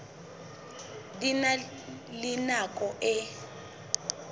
di na le nako e